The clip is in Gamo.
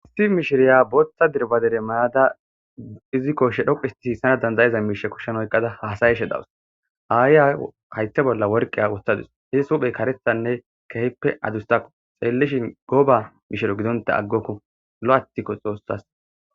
Histi mishiriya booththa dirbadere mayada izikkoshe dhoqu isti siissana dandayiza miishe kushshen oyqqada haasayeshe dawus aayiya haytta bolla worqiya wottadus he suphey karethanne kehippe adustaku xeellishin goba mishiro gidonta aggokko lo7attikko xoossas.